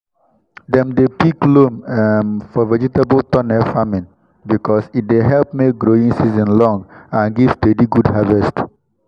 dem dey pick loam um for vegetable tunnel farming because e dey help make growing season long and give steady good harvest.